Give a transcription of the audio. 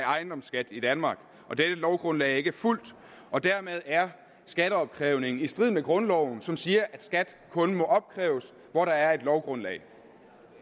af ejendomsskat i danmark og dette lovgrundlag er ikke fulgt og dermed er skatteopkrævningen i strid med grundloven som siger at skat kun må opkræves hvor der er et lovgrundlag